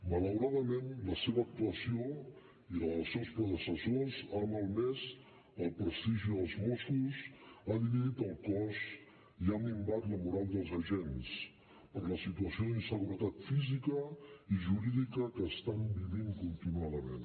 malauradament la seva actuació i la dels seus predecessors ha malmès el prestigi dels mossos ha dividit el cos i ha minvat la moral dels agents per la situació d’inseguretat física i jurídica que estan vivint continuadament